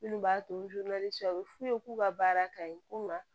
Minnu b'a to cɛ a bɛ f'u ye k'u ka baara ka ɲi ko ma